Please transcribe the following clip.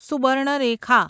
Subarnarekha